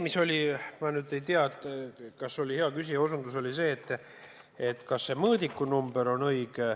Ma nüüd ei tea, kas hea küsija soovib teada, kas see mõõdikunumber on õige.